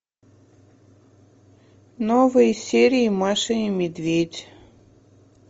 новые серии маша и медведь